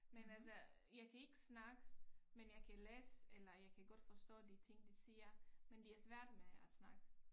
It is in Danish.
Men altså jeg kan ikke snakke men jeg kan læse eller jeg kan godt forstå de ting de siger men det er svært med at snakke